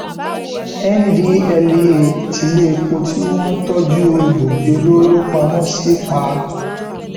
ndtea tiléèpo tí wọn ń tọjú egbòogi olóró pamọ sí pa